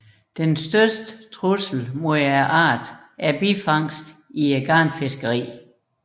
Største trussel mod arten er bifangst i garnfiskeri